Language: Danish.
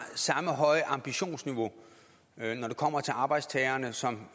samme høje ambitionsniveau når det kommer til arbejdstagerne som